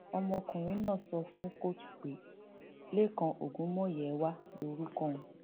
ọmọkùnrin náà sọ fún kóòtù pé lẹkan ogunmúyẹwà lorúkọ òun